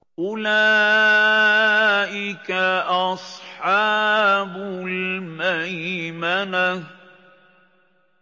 أُولَٰئِكَ أَصْحَابُ الْمَيْمَنَةِ